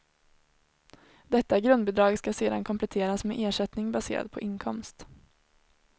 Detta grundbidrag skall sedan kompletteras med ersättning baserad på inkomst.